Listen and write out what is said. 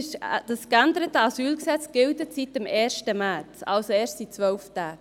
Das geänderte AsylG gilt seit dem 1. März 2019, also seit erst 12 Tagen.